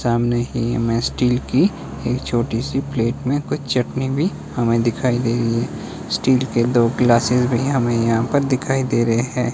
सामने में स्टील की एक छोटी सी प्लेट में कुछ चटनी भी हमें दिखाई दे रही है स्टील के दो ग्लासेस भी हमें यहां पर दिखाई दे रहे हैं।